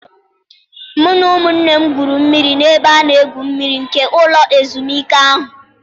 Mụ na ụmụnne m gwuru mmiri n'ebe a na-egwu mmiri nke ụlọ ezumike ahụ.